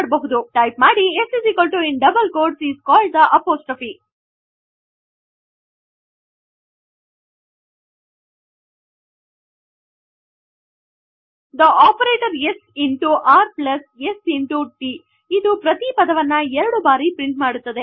type ಮಾಡಿ s in double quotes is called the apostrophe the operation s into r plus s into t ಇದು ಪ್ರತಿ ಪದವನ್ನು ಎರಡು ಬಾರಿ ಪ್ರಿಂಟ್ ಮಾಡುತ್ತದೆ